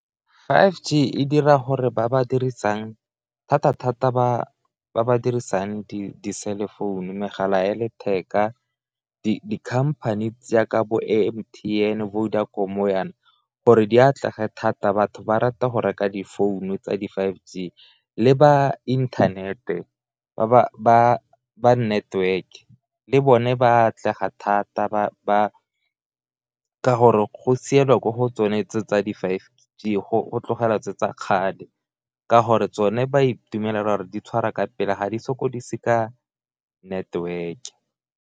Five G e dira gore ba ba dirisang thata-thata ba ba dirisang di-cell phone, megala ya letheka, di-company tse jaaka bo M_T_N bo Vodacom jaana gore di atlege thata batho ba rata go reka difounu tsa di five G le ba inthanete ba network-e le bone ba atlega thata, ka gore go sielwa ko go tsone tse tsa di-five G go tlogelwa tse tsa kgale, ka gore tsone ba itumelela gore di tshwara ka pele ga di sokodise ka network.